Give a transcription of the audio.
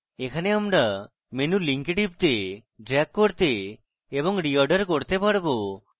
এখানে আমরা menu links টিপতে drag করতে এবং reorder করতে পারবো